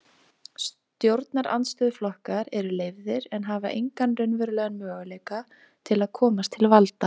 Stjórnarandstöðuflokkar eru leyfðir en hafa engan raunverulegan möguleika til að komast til valda.